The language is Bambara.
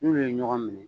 N'ulu ye ɲɔgɔn minɛ